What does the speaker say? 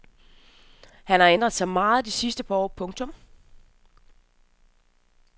Han har ændret sig meget de sidste par år. punktum